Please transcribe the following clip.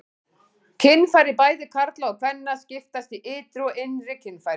Kynfæri bæði karla og kvenna skiptast í ytri og innri kynfæri.